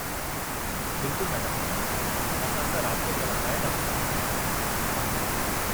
बिल्कुलु मैडम, असां सां राबितो करणु लाइ तव्हां जी महिरबानी।